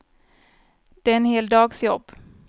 Det är en hel dags jobb.